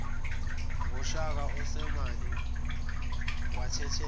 ngakushaka osemane wathathela